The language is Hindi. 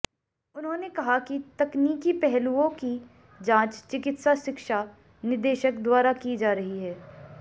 उन्होंने कहा कि तकनीकी पहलुओं की जांच चिकित्सा शिक्षा निदेशक द्वारा की जा रही है